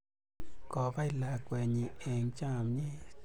Kopai lakwennyi eng' chamyet